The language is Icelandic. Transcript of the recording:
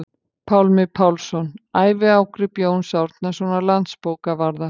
Pálmi Pálsson: Æviágrip Jóns Árnasonar landsbókavarðar